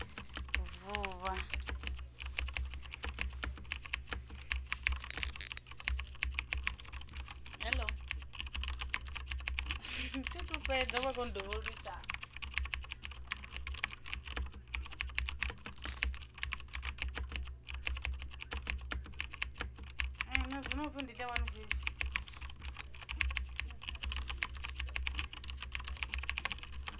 vuvha